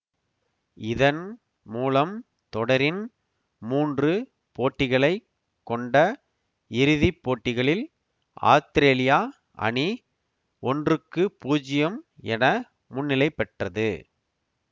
இதன் மூலம் தொடரின் மூன்று போட்டிகளைக் கொண்ட இறுதி போட்டிகளில் ஆத்திரேலியா அணி ஒன்றுக்கு பூஜ்யம் என முன்னிலைபெற்றது